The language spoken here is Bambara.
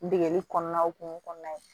Degeli kɔnɔna hokumun kɔnɔna ye